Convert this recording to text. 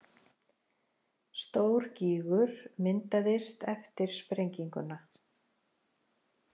Stór gígur myndaðist eftir sprengjuna